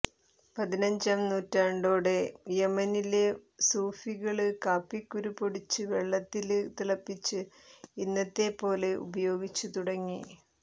പതിനഞ്ചാം നൂറ്റാണ്ടോടെ യമനിലെ സൂഫികള് കാപ്പിക്കുരു പൊടിച്ച് വെള്ളത്തില് തിളപ്പിച്ച് ഇന്നത്തെപ്പോലെ ഉപയോഗിച്ച് തുടങ്ങി